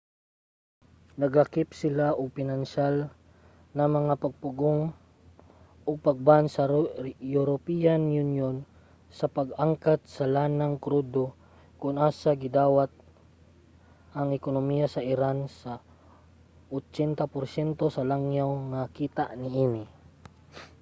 naglakip sila ug pinansyal na mga pagpugong og pag-ban sa european union sa pag-angkat sa lanang krudo kon asa gadawat ang ekonomiya sa iran sa 80% sa langyaw nga kita niini